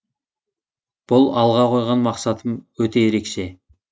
бұл алға қойған мақсатым өте ерекше